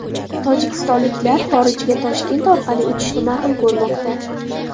Tojikistonliklar xorijga Toshkent orqali uchishni ma’qul ko‘rmoqda.